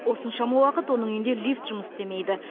осыншама уақыт оның үйінде лифт жұмыс істемейді